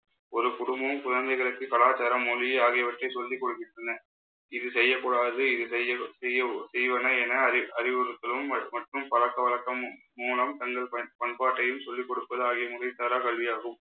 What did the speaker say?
ஒரு குடும்பமும் குழந்தைகளுக்கு, கலாச்சாரம் மொழி ஆகியவற்றை சொல்லிக் கொடுக்கின்றன இது செய்யக் கூடாது இது செய்லு~ செய்யவு~ செய்வன என அறி~ அறிவுறுத்தலும் மட்~ மற்றும் பழக்க வழக்கம் மு~ மூலம் தங்கள் பயன்~ பண்பாட்டையும் சொல்லிக் கொடுப்பது ஆகிய முறைசாரா கல்வியாகும்